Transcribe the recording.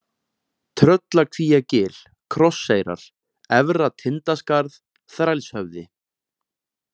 Tröllakvíagil, Krosseyrar, Efra-Tindaskarð, Þrælshöfði